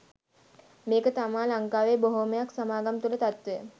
මේක තමා ලංකාවේ බොහොමයක් සමාගම් තුල තත්වය.